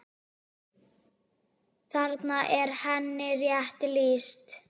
Þarna er henni rétt lýst.